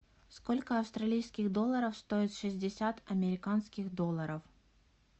сколько австралийских долларов стоят шестьдесят американских долларов